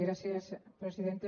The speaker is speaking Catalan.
gràcies presidenta